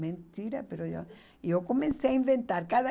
Mentira, e eu comecei a inventar.